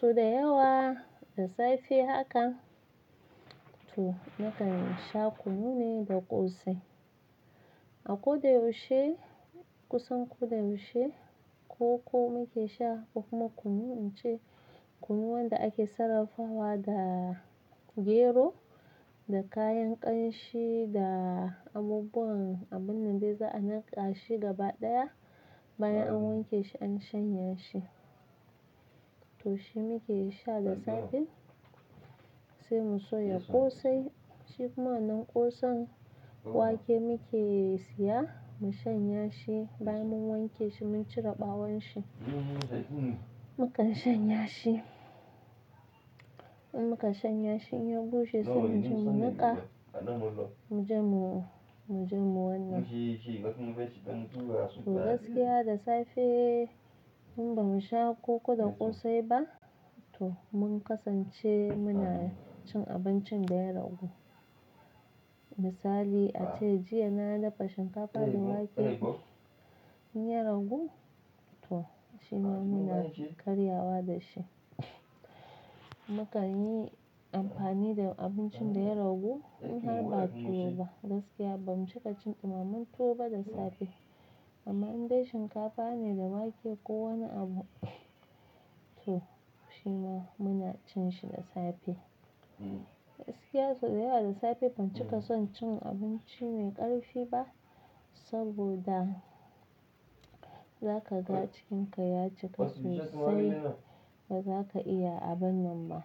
So da yawa da safe haka to nakan sha kunu ne da ƙosai. A ƙoda yaushe kusan ko da yaushe koko nake sha ko kuma kunu ince kunu wanda ake sarrafawa da gero da kayan ƙanshi da abubuwan abun nan dai za'a niƙa shi gaba ɗaya bayan an wanke shi an shanya shi. To shi muke sha da safe sai mu shaya ƙosai shi kuma nan ƙosan wake muke siya mu shanya shi bayan mun wanke shi mun cire ɓawon shi. Mukan shanya shi, in muka shanya shi in ya bushe sai mu je mu niƙa mu je mu, mu je mu wannan. To gaskiya da safe in ba mu sha koko da ƙosai ba to mun kasance muna cin abincin da ya ragu. Misali ace jiya na dafa shinkafa da wake in ya ragu to shi ma muna karyawa da shi. Mukan yi amfani da abincin da ya ragu in har ba tuwo ba gaskiya ba mu cika cin ɗimaman tuwo ba da safe. Amma in dai shinkafa ne da wake ko wani abu to shi ma muna cin shi da safe. Gaskiya sau da yawa da safe ban cika son cin abinci mai ƙarfi ba saboda za ka ga jikinka ya cika sai ba za ka iya aban nan ba.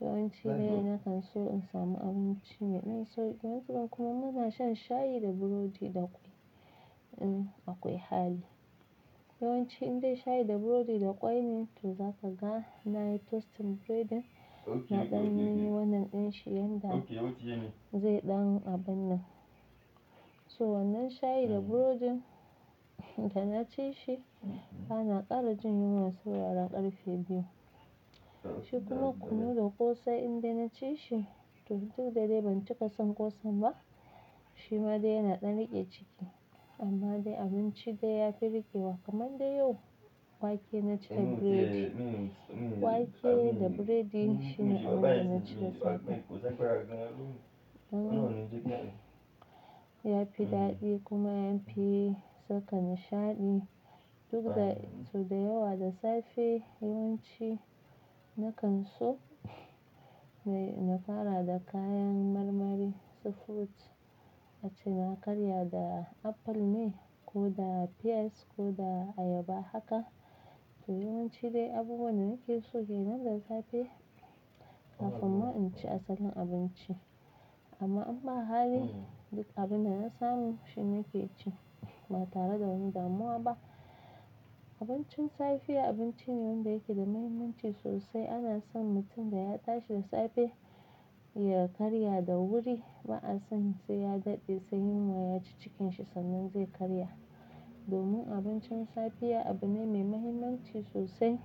Yawanci dai na kan so in samu abinci mai ɗan sauki gaskiya kuma muna shan shayi da burodi da kwai in akwai hali. Yawanci in dai shayi da burodi da kwai ne to za ka ga na yi toasting breading na ɗanyi wannan ɗin shi yanda zai ɗan abin nan. So wannan shayi da burodin in na ci shi bana ƙara jin yunwa sai wuraran ƙarfe biyu. Shi kuma kunu da ƙosai in dai na ci shi to duk da dai ban cika son ƙosan ba shi ma dai yana ɗan riƙe ciki. Amma dai abinci dai ya fi riƙe kamar dai yau wake na ci da biredi, wake da biredi shine abin na ci da safe. Ya fi daɗi kuma ya fi saka nishaɗi duk da sau da yawa da safe yawanci na kan so na fara da kayan marmari su food ace na karya da Apple ne ko da Pears ko da Ayaba haka. To yawanci dai abubuwan da nake so kenan da safe kafin ma in ci asalin abinci. Amma in ba hali duk abin da na samu shi nake ci ba tare da wani damuwa ba. Abincin safiya abinci ne wanda yake da muhimmanci sosai ana son mutum da ya tashi da safe ya karya da wuri ba'a son sai ya daɗe sai yunwa yaci cikinshi sannan zai karya. Domin abincin safe ya abu ne mai muhimmanci sosai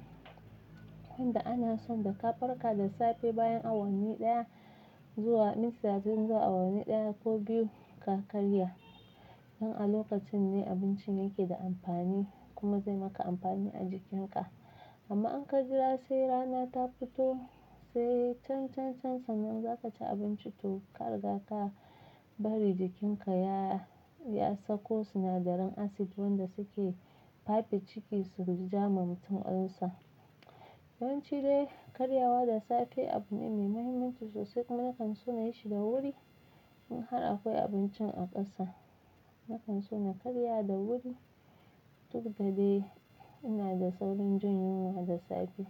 wanda ana son da ka farka da safe bayan awanni ɗaya zuwa minti talatin zuwa awanni ɗaya ko biyu ka karya. Nan a lokacin ne abincin yake da amfani kuma zai maka amfani a jikinka. Amma in ka jira sai rana ta fito sai can, can can sannan za ka ci abinci to ka riga ka bari jikinka ya, ya sako sinadaran Acid wanda suke fafe ciki su ja ma mutum ulser. Yawanci dai karyawa da safe abu ne mai muhimmanci sosai kuma na kan so na yi shi da wuri in har akwai abincin a ƙasa. Na kan so na karya da wuri duk da dai ina da saurin jin yunwa da safe.